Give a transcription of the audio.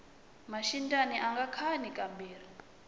maxindyani anga khani ka mbirhi